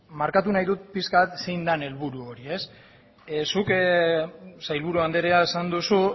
markatu nahi dut pixka bat zein den helburu hori ez zuk sailburu andrea esan duzu